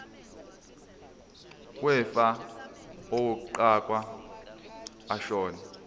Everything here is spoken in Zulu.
wefa owaqokwa ashona